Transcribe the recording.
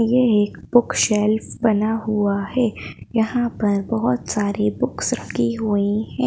ये एक book shelf बना हुआ है यहां पर बहोत सारी बुक्स रखी हुई हैं।